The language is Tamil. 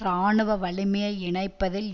இராணுவ வலிமையை இணைப்பதில்